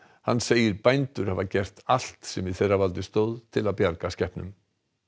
hann segir bændur hafa gert allt sem í þeirra valdi stóð til að bjarga skepnum